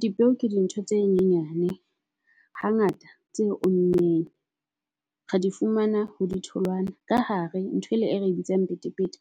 Dipeo ke di ntho tse nyenyane hangata tse ommeng re di fumana ho di tholwana. Ka hare nthwele e re bitsang petepete